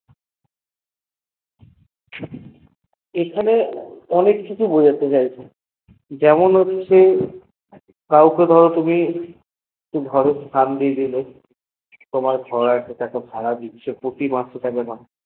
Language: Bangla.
এখানে অনেক কিছু বোঝাতে চাইছে যেমন হচ্ছে কাউকে ধর তুমি স্থান দিয়ে দিলে তুমি ভাড়া দিছ তাকে প্রতি মাসে ভাড়া দিছ